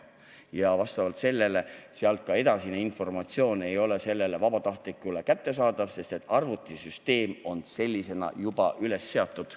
Ja vastavalt sellele ei ole ka edasine informatsioon vabatahtlikule kättesaadav, sest arvutisüsteem on sellisena üles seatud.